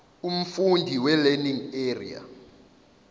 umfundisi welearning area